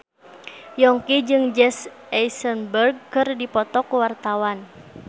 Yongki jeung Jesse Eisenberg keur dipoto ku wartawan